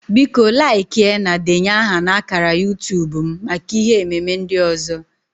Biko laịkịa na denye aha na ákàrà YuuTub m maka ihe ememe ndị ọzọ